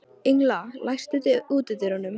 Engla, læstu útidyrunum.